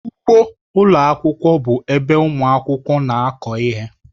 Ugbo ụlọ akwụkwọ bụ ebe ụmụ akwụkwọ na-akụ ihe.